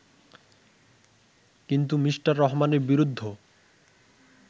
কিন্তু মি. রহমানের বিরুদ্ধ